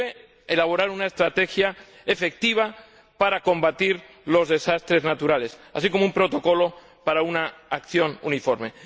y debe elaborar una estrategia efectiva para combatir los desastres naturales, así como un protocolo para una acción uniforme.